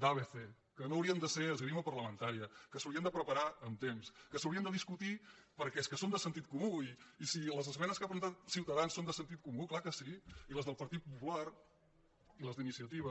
d’abc que no haurien de ser esgrima parlamentària que s’haurien de preparar amb temps que s’haurien de discutir perquè és que són de sentit comú i si les esmenes que ha presentat ciuta·dans són de sentit comú clar que sí i les del par·tit popular les d’iniciativa